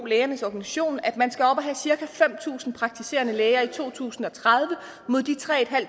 lægernes organisation at man skal op og have cirka fem tusind praktiserende læger i to tusind og tredive mod de tre